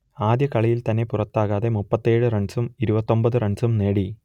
ആദ്യ കളിയിൽ തന്നെ പുറത്താകാതെ മുപ്പത്തിയേഴ് റൺസും ഇരുപത്തിയൊമ്പത് റൺസും നേടി